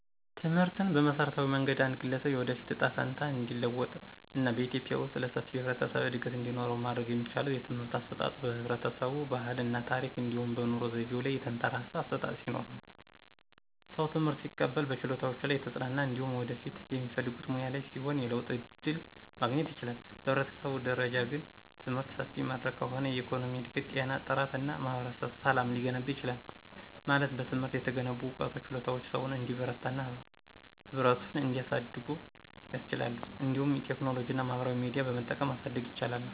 ትምህርትን በመሠረታዊ መንገድ አንድ ግለሰብ የወደፊት እጣ ፈንታ እንዲለወጥ እና በኢትዮጵያ ውስጥ ለሰፊው የህብረተሰብ እድገት እንዲኖረው ማድረግ የሚቻለው የትምህርት አሰጣጡ በህብረተሰቡ ባህል እና ታረክ እንዲሁም በኑሮ ዘይቤው ላይ የተንተራሰ አሠጣጥ ሲኖርነው። ሰው ትምህርት ሲቀበል በችሎታዎቹ ላይ የተጽናና እንዲሁም በወደፊት በሚፈልጉት ሙያ ላይ ሲሆን የለውጥ ዕድል ማግኘት ይችላል። በህብረተሰብ ደረጃ ግን፣ ትምህርት ሰፊ መድረክ ከሆነ የኢኮኖሚ እድገት፣ ጤና ጥራት እና ማህበረሰብ ሰላም ሊገነባ ይችላል። ማለት በትምህርት የተገነቡ ዕውቀትና ችሎታዎች ሰውን እንዲበረታና ህብረቱን እንዲያድጉ ያስችላሉ። እንዲሁም ቴክኖሎጂና ማህበራዊ ሚዲያ በመጠቀም ማሳደግ ይቻላል።